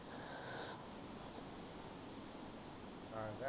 हा काय